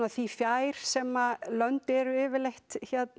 því fjær sem lönd eru yfirleitt